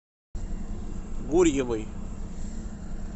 гурьевой